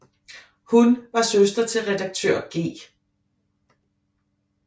Hun var søster til redaktør G